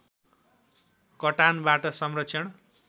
कटानबाट संरक्षण